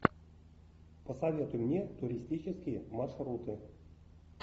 посоветуй мне туристические маршруты